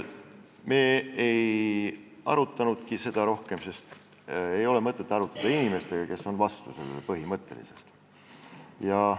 Me ei arutanudki seda rohkem, sest ei ole mõtet arutada inimestega, kes on põhimõtteliselt vastu.